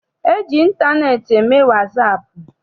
E ji ịntaneetị eme wasaapụ.